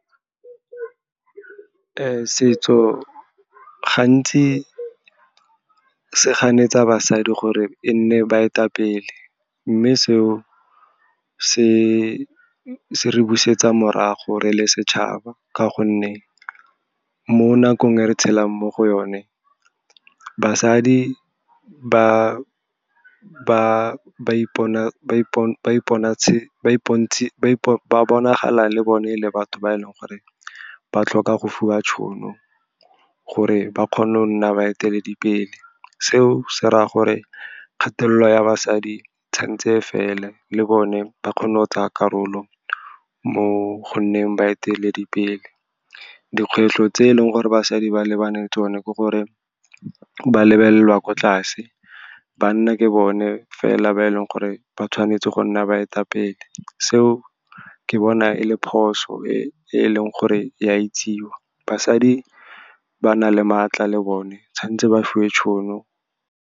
Setso gantsi se ganetsa basadi gore e nne baetapele, mme seo se re busetsa morago re le setšhaba. Ka gonne mo nakong e re tshelang mo go yone, basadi ba bonagale, le bone ele batho ba e leng gore ba tlhoka go fiwa tšhono gore ba kgone go nna baeteledipele. Seo se raya gore kgatelelo ya basadi tshwantse e fele, le bone ba kgone go tsaya karolo mo go nneng baeteledipele. Dikgwetlho tse e leng gore basadi ba lebane le tsone ke gore ba lebelelwa ko tlase, banna ke bone fela ba e leng gore ba tshwanetse go nna baetapele. Seo ke bona ele phoso e leng gore ya itsewa, basadi ba na le maatla, le bone tshwantse ba fiwe tšhono.